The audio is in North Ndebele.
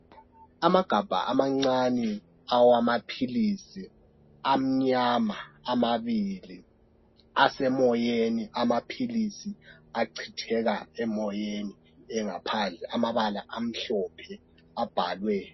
Amagabha amancane awamapilisi, amnyama amabili, asemoyeni, amapilisi acitheka asemoyeni engaphandle. Amabala amhlophe abhalwe.